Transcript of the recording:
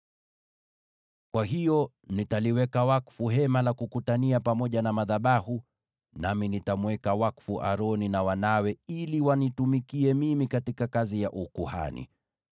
“Kwa hiyo nitaliweka wakfu Hema la Kukutania pamoja na madhabahu, nami nitamweka wakfu Aroni na wanawe ili wanitumikie mimi katika kazi ya ukuhani.